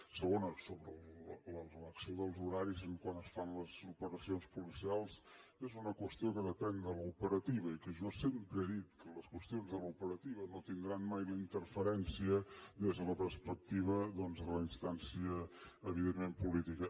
segona sobre l’elecció dels horaris quan es fan les operacions policials és una qüestió que depèn de l’operativa i jo sempre he dit que les qüestions de l’operativa no tindran mai la interferència des de la perspectiva de la instància evidentment política